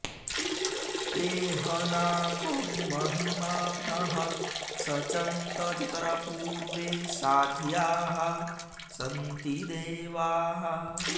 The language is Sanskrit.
ते ह॒ नाकं॑ महि॒मानः॑ सचन्त॒ यत्र॒ पूर्वे॑ सा॒ध्याः सन्ति॑ दे॒वाः